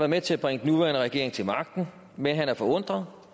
med til at bringe den nuværende regering til magten men han er forundret